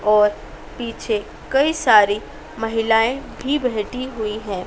और पीछे कई सारी महिलाएं भी बैठी हुई है।